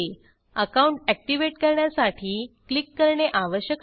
account activate करण्यासाठी click करणे आवश्यक आहे